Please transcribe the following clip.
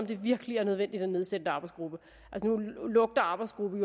det virkelig er nødvendigt at nedsætte en arbejdsgruppe arbejdsgruppe